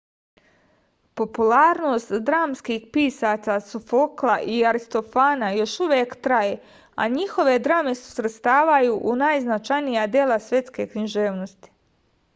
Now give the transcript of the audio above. popularnost dramskih pisaca sofokla i aristofana još uvek traje a njihove drame se svrstavaju u najznačajnija dela svetske književnosti